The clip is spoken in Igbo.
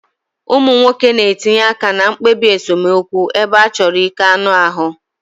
Ụmụ nwoke na-etinye aka na mkpebi esemokwu ebe a chọrọ ike anụ ahụ.